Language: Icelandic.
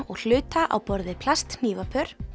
og hluta á borð við plasthnífapör